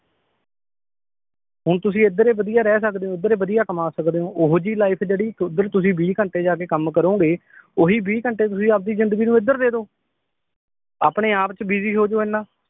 ਹੁਣ ਤੁਸੀ ਏਧਰ ਵਧੀਆ ਰਹਿ ਸਕਦੇ ਓ ਉਧਰੇ ਵਧੀਆ ਕਮਾ ਸਕਦੇ ਓ ਓਹੁ ਜੀ ਲਾਈਫ ਜਿਹੜੀ ਓਧਰ ਤੁਸੀ ਬੀ ਘੰਟੇ ਜਾ ਕੇ ਕੰਮ ਕਰੂਂਗੇ ਓਹੀ ਬੀ ਘੰਟੇ ਤੁਸੀ ਆਪਦੀ ਜਿੰਦਗੀ ਨੂੰ ਏਧਰ ਦੇਦੋ